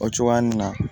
O cogoya nin na